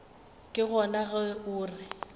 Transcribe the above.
ke gona ge o re